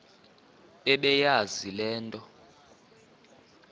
bebeyazi le nto